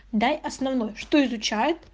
дай основной что изучает